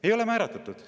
Ei ole määratletud!